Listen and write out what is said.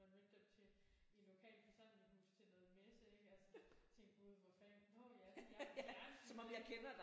Man mødte dem til i en lokal forsamlingshus til noget messe ik altså tænkte gud hvor fanden nå ja det er jer fra fjernsynet